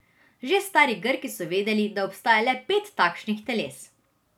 Že stari Grki so vedeli, da obstaja le pet takšnih teles.